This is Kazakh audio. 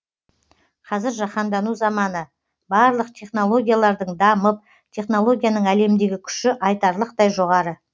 қазір жаһандану заманы барлық технологиялардың дамып технологияның әлемдегі күші айтарлықтай жоғары